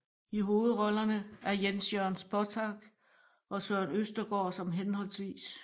I hovedrollerne er Jens Jørn Spottag og Søren Østergaard som hhv